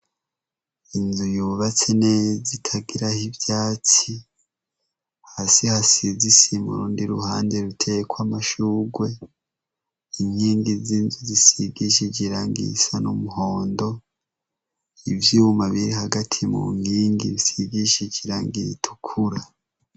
Inzu yubatse neza itagiraho ivyatsi, hasi hasize isima urundi ruhande ruteyeko amashurwe, inkingi z'inzu zisigishije irangi risa n'umuhondo, ivyuma biri hagati mu nkingi bisigishije irangi ritukura.